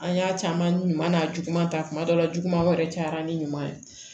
An y'a caman ɲuman n'a juguman ta kuma dɔ la jugumanw yɛrɛ cayara ni ɲuman ye